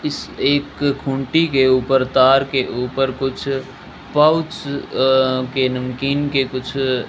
इस एक खूनटी के ऊपर तार के ऊपर कुछ पाउच अ के नमकीन के कुछ --